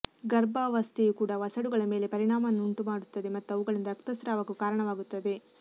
ಗರ್ಭಾವಸ್ಥೆಯು ಕೂಡ ವಸಡುಗಳ ಮೇಲೆ ಪರಿಣಾಮವನ್ನುಂಟು ಮಾಡುತ್ತದೆ ಮತ್ತು ಅವುಗಳಿಂದ ರಕ್ತಸ್ರಾವಕ್ಕೂ ಕಾರಣವಾಗುತ್ತದೆ